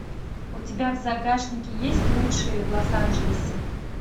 у тебя в загашнике есть лучшие в лос анджелесе